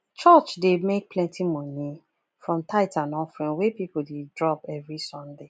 church dey make plenty money from tithes and offering wey people dey drop every sunday